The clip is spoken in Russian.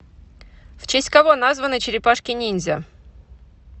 в честь кого названы черепашки ниндзя